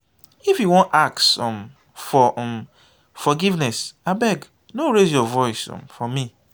if you wan ask um for um forgiveness abeg no raise your voice um for me